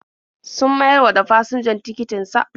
Sun mayar wa da fasinjan tikitin sa.